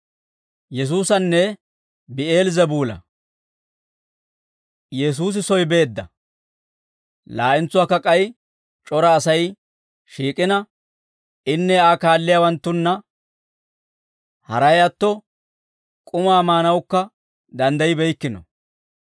Yesuusi soy beedda; laa'entsuwaakka k'ay c'ora Asay shiik'ina, inne Aa kaalliyaawanttunna haray atto, k'umaa maanawukka danddaybbeykkino;